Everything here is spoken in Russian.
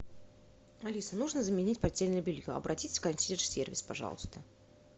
алиса нужно заменить постельное белье обратись в консьерж сервис пожалуйста